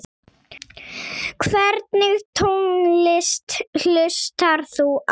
Hvernig tónlist hlustar þú á?